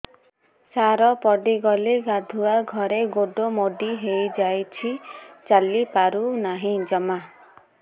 ସାର ପଡ଼ିଗଲି ଗାଧୁଆଘରେ ଗୋଡ ମୋଡି ହେଇଯାଇଛି ଚାଲିପାରୁ ନାହିଁ ଜମା